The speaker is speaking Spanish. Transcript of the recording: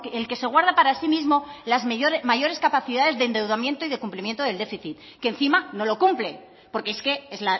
el que se guarda para sí mismo las mayores capacidades de endeudamiento y de cumplimiento del déficit que encima no lo cumple porque es que es